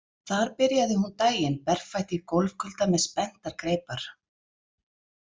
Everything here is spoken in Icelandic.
Þar byrjaði hún daginn berfætt í gólfkulda með spenntar greipar.